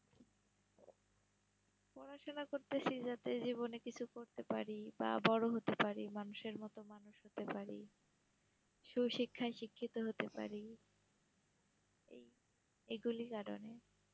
পড়াশোনা করতাসি যাতে জীবনে কিছু করতে পারি, বা বড় হতে পারি মানুষের মতো মানুষ হতে পারি, সুশিক্ষায় শিক্ষিত হতে পারি এই এইগুলার কারণে